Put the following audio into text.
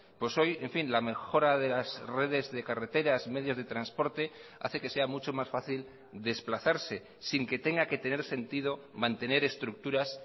pues hoy en fin la mejora de las redes de carreteras medios de transporte hace que sea mucho más fácil desplazarse sin que tenga que tener sentido mantener estructuras